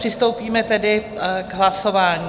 Přistoupíme tedy k hlasování.